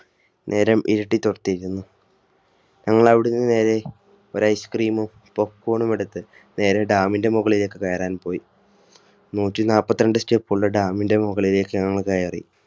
നേരം ഇരുട്ടി തുടങ്ങിയിരുന്നു ഞങ്ങൾ അവിടുന്ന് നേരെ ഒരൈ Ice CreemPopcone ണുമെടുത്തുനേരെ Dam ന്റെ മുകളിലേക്ക് കയറാൻ പോയി നൂറ്റിനാല്പത്തിരണ്ട്‌ Step ള്ള Dam ന്റെ മുകളിലേക്ക് ഞങ്ങൾ കയറി